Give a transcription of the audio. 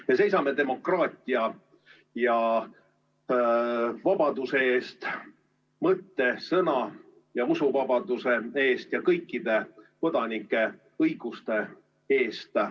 Me seisame demokraatia ja vabaduse eest, mõtte‑, sõna‑ ja usuvabaduse eest ja kõikide kodanike õiguste eest.